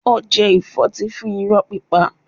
Ó jẹ ìfọ́tí fún irọ́ pípa.